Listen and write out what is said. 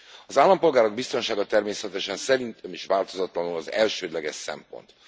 Az állampolgárok biztonsága természetesen szerintem is változatlanul az elsődleges szempont.